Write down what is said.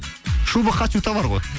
шуба хочу товар ғой